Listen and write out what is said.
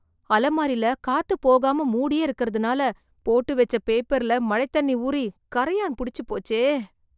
அலமாரில, காத்து போகாம மூடியே இருக்கறதுனால, போட்டு வெச்ச பேப்பர்ல மழைத் தண்ணி ஊறி, கரையான் புடிச்சுபோச்சே..